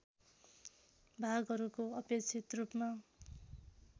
भागहरूको अपेक्षित रूपमा